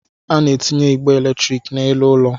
A na-etinye igbe eletrik n'elu ụlọ